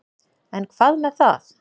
En hvað með það.